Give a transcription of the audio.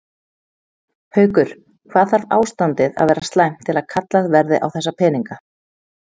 Haukur: Hvað þarf ástandið að vera slæmt til að kallað verði á þessa peninga?